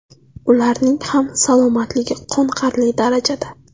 Ularning ham salomatligi qoniqarli darajada.